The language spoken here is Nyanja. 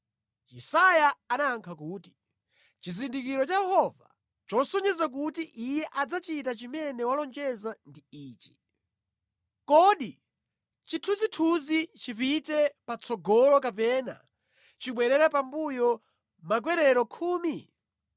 Yesaya anayankha kuti, “Chizindikiro cha Yehova chosonyeza kuti Iye adzachita chimene walonjeza ndi ichi: Kodi chithunzithunzi chipite patsogolo kapena chibwerere pambuyo makwerero khumi?”